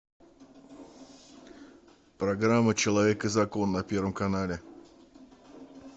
программа человек и закон на первом канале